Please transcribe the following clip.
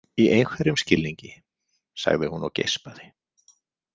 Í einhverjum skilningi, sagði hún og geispaði.